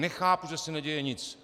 Nechápu, že se neděje nic.